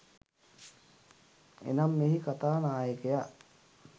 එනම්, මෙහි කතා නායකයා